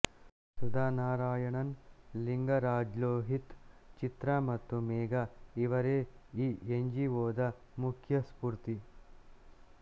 ಸುಧಾ ನಾರಾಯಣನ್ ಲಿಂಗರಾಜ್ಲೋಹಿತ್ ಚಿತ್ರಾ ಮತ್ತು ಮೇಘಾ ಇವರೆ ಈ ಎನ್ಜಿಒದ ಮುಖ್ಯ ಸ್ಪೂರ್ತಿ